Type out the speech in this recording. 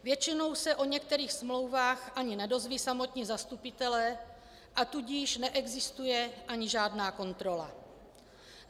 Většinou se o některých smlouvách ani nedozvědí samotní zastupitelé, a tudíž neexistuje ani žádná kontrola.